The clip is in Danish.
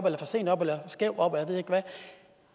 eller for sent op eller skævt op og jeg ved ikke hvad